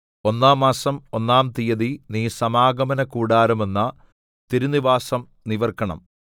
ഒന്നാം മാസം ഒന്നാം തീയതി നീ സമാഗമനകൂടാരമെന്ന തിരുനിവാസം നിവിർക്കണം